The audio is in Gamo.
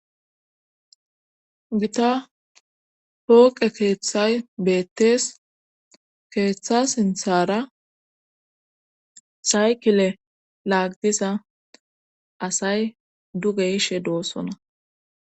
Gita pooqe keeththay beettees keeththa sinthara saykile laagdiza asay duge ishe doossona.